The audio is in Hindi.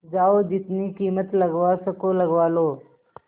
जाओ जितनी कीमत लगवा सको लगवा लो